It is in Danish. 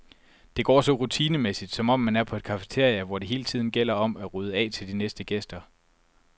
Det går så rutinemæssigt, som om man er på et cafeteria, hvor det hele tiden gælder om at rydde af til de næste gæster.